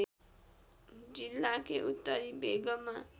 जिल्लाकै उत्तरी भेगमा